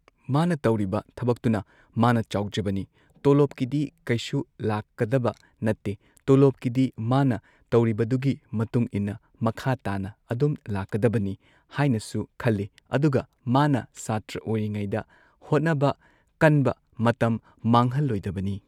ꯃꯥꯅ ꯇꯧꯔꯤꯕ ꯊꯕꯛꯇꯨꯅ ꯃꯥꯅ ꯆꯥꯎꯖꯕꯅꯤ ꯇꯣꯂꯣꯞꯀꯤꯗꯤ ꯀꯩꯁꯨ ꯂꯥꯛꯀꯗꯕ ꯅꯠꯇꯦ ꯇꯣꯂꯣꯞ ꯀꯤꯗꯤ ꯃꯥꯅ ꯇꯧꯔꯤꯕꯗꯨꯒꯤ ꯃꯇꯨꯡ ꯏꯟꯅ ꯃꯈꯥ ꯇꯥꯅ ꯑꯗꯨꯝ ꯂꯥꯛꯀꯗꯕꯅꯤ ꯍꯥꯏꯅꯁꯨ ꯈꯜꯂꯤ ꯑꯗꯨꯒ ꯃꯥꯅ ꯁꯥꯇ꯭ꯔ ꯑꯣꯏꯔꯤꯉꯩꯗ ꯍꯣꯠꯅꯕ ꯀꯟꯕ ꯃꯇꯝ ꯃꯥꯡꯍꯟꯂꯣꯏꯗꯕꯅꯤ꯫